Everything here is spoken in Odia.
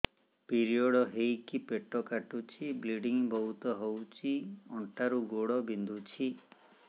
ପିରିଅଡ଼ ହୋଇକି ପେଟ କାଟୁଛି ବ୍ଲିଡ଼ିଙ୍ଗ ବହୁତ ହଉଚି ଅଣ୍ଟା ରୁ ଗୋଡ ବିନ୍ଧୁଛି